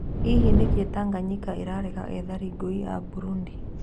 Hihi nĩkĩĩ Tanganyika ĩrarega ethari ngũĩ a Burundi ?